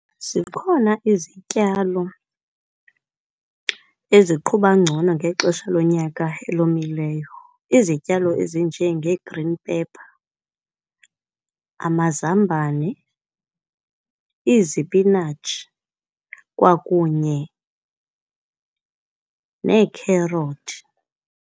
Zikhona izityalo eziqhuba ngcono ngexesha lonyaka elomileyo. Izityalo ezinjengee-green pepper, amazambane, izipinatshi kwakunye neekherothi.